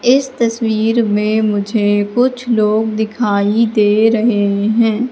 इस तस्वीर में मुझे कुछ लोग दिखाई दे रहे हैं।